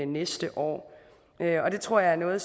næste år det tror jeg er noget